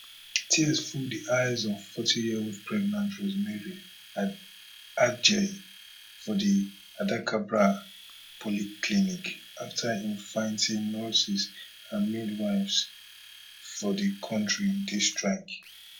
tears full di eyes of forty yearold pregnant rosemary adjei for di adacabra polyclinic afta im find say nurses and midwives for di kontri dey strike